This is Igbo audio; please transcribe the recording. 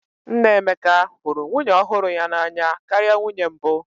Nna Emeka hụrụ nwunye ọhụrụ ya n'anya karịa nwunye mbụ